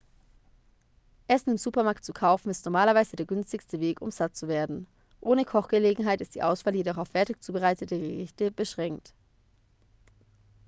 essen im supermarkt zu kaufen ist normalerweise der günstigste weg um satt zu werden ohne kochgelegenheit ist die auswahl jedoch auf fertig zubereitete gerichte beschränkt